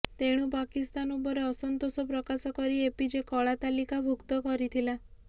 ତେଣୁ ପାକିସ୍ତାନ ଉପରେ ଅସନ୍ତୋଷ ପ୍ରକାଶ କରି ଏପିଜେ କଳାତାଲିକା ଭୁକ୍ତ କରିଥିଲା